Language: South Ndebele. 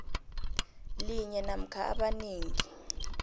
linye namkha amanengi